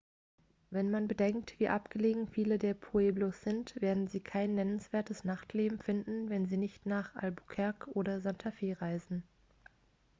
wenn man bedenkt wie abgelegen viele der pueblos sind werden sie kein nennenswertes nachtleben finden wenn sie nicht nach albuquerque oder santa fe reisen